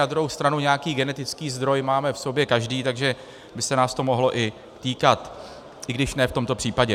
Na druhou stranu nějaký genetický zdroj máme v sobě každý, takže by se nás to mohlo i týkat, i když ne v tomto případě.